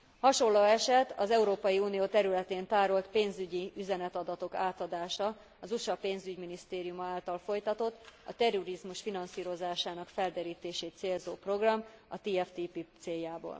Hasonló eset az Európai Unió területén tárolt pénzügyi üzenetadatok átadása az USA Pénzügyminisztériuma által folytatott, a terrorizmus finanszírozásának felderítését célzó program, a TFTP céljából.